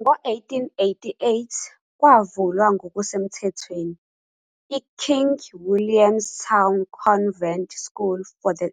Ngo-1888 kwavulwa ngokusemthethweni "iKing William's Town Convent School for the